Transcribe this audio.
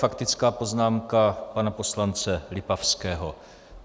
Faktická poznámka pana poslance Lipavského.